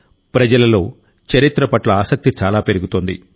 ప్రజలలో చరిత్ర పట్ల ఆసక్తి చాలా పెరుగుతోంది